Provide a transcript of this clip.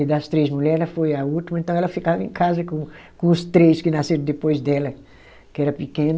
E das três mulheres ela foi a última, então ela ficava em casa com com os três que nasceram depois dela, que era pequena.